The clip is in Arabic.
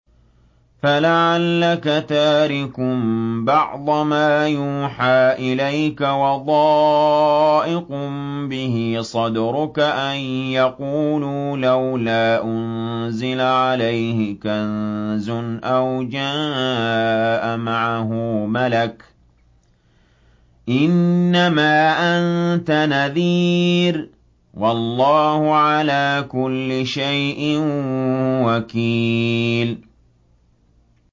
فَلَعَلَّكَ تَارِكٌ بَعْضَ مَا يُوحَىٰ إِلَيْكَ وَضَائِقٌ بِهِ صَدْرُكَ أَن يَقُولُوا لَوْلَا أُنزِلَ عَلَيْهِ كَنزٌ أَوْ جَاءَ مَعَهُ مَلَكٌ ۚ إِنَّمَا أَنتَ نَذِيرٌ ۚ وَاللَّهُ عَلَىٰ كُلِّ شَيْءٍ وَكِيلٌ